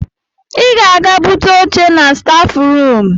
Ị ga-aga bute oché na staf ruum.